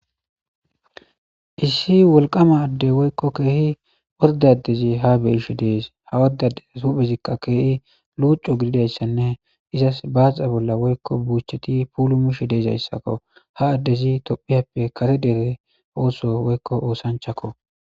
Issi wolqama adde woykko keehi ordaddezi ha beyishe dees ha woddadez huphezikka keehi luucu gididayssanne izas baaxa bolla woykko buucheti puulu mishe deezayssakko ha addezi tophiyappe kare dere ooso woykko oosanchakko.